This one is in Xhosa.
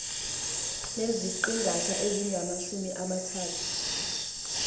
neziqingatha ezingamajumi amathathu